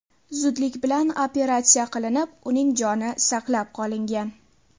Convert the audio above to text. zudlik bilan operatsiya qilinib, uning joni saqlab qolingan.